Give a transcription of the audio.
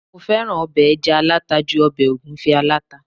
mo fẹràn obe eja alata ju obe ogunfe alata